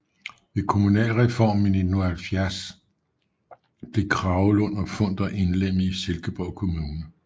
Ved kommunalreformen i 1970 blev Kragelund og Funder indlemmet i Silkeborg Kommune